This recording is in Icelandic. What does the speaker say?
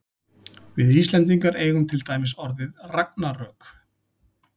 við íslendingar eigum til dæmis orðið ragnarök